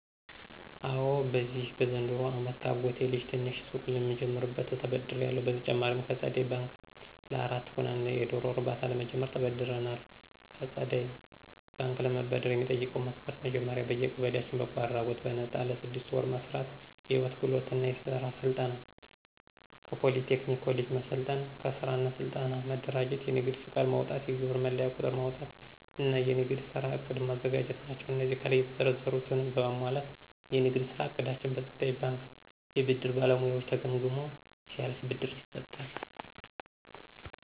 አወ በዚሁ በዘንድሮው አመት ከአጎቴ ልጅ ትንሽ ሱቅ ለምጀምርበት ተበድሬአለሁ። በተጨማሪም ከፀደይ በንክ ለአራት ሆነን የዶሮ እርባታ ለመጀመር ተበድረናል። ከፀደይ ባንክ ለመበደር የሚጠይቀው መስፈርት መጀመሪያ በየቀበሌያችን በጎ አድራጎት በነጣ ለስድስት ወር መስራት፣ የህይወት ክህሎት እና የስራ ፈጠራ ስልጠና ከፖሊ ቴክኒክ ኮሌጅ መሰልጠን፣ ከስራ እና ስልጠና መደራጀት፣ የንግድ ፍቃድ ማውጣት፣ የግብር መለያ ቁጥር ማውጣት እና የንግድ ስራ ዕቅድ ማዘጋጀት ናቸው። አነዚህን ከላይ የተዘረዘሩትን በማሟላት የንግድ ስራ እቅዳችን በፀደይ ባንክ የብድር ባለሙያዎች ተገምግሞ ሲያልፍ ብድር ይሰጣል።